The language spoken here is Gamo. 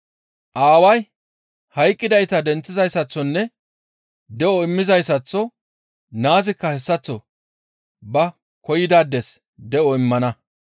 Aaway hayqqidayta denththizayssaththonne de7o immizayssaththo naazikka hessaththo ba koyidaades de7o immana.